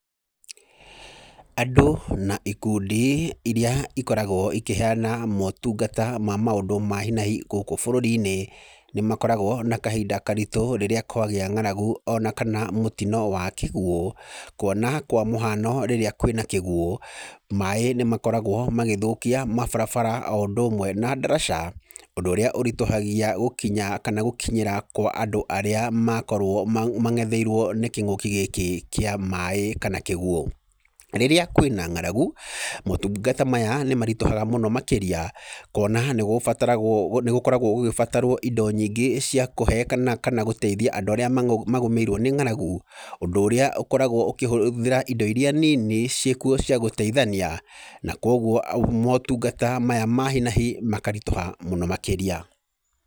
Andũ na ikundi irĩa ikoragwo ikĩheana motungata ma maũndũ ma hi na hi gũkũ bũrũri-inĩ, nĩ makoragwo na kahinda karitũ rĩrĩa kwagĩa ng'aragu ona kana mũtino wa kĩguũ. Kuona kwa mũhano rĩrĩa kwĩ na kĩguũ, maĩ nĩ makoragwo magĩthũkia mabarabara o ũndũ ũmwe na ndaraca. Ũndũ ũrĩa ũritũhagia gũkinya kana gũkinyĩra kwa andũ arĩa makorwo mang'etheirwo nĩ kĩng'ũki gĩkĩ kĩa maĩ kana kĩguũ. Rĩrĩa kwĩna ng'aragu, motungata maya nĩ maritũhaga mũno makĩria, kuona nĩ gũbataragwo, nĩ gũkoragwo gũgĩbatarwo indo nyingĩ cia kũhe kana kana gũteithia andũ arĩa magomeirwo nĩ ng'aragu. Ũndũ ũrĩa ũkoragwo ũkĩhũthĩra indo irĩa nini ciĩ kuo cia gũteithania. Na kũguo motungata maya ma hi na hi makaritũha mũno makĩria.